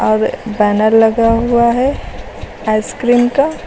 और बैनर लगा हुआ है आइ सक्रीम का।